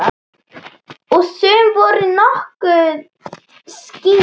Og sum voru nokkuð skýr.